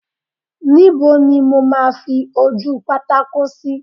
Níbo ni mo máa fi ojúpátákó sí?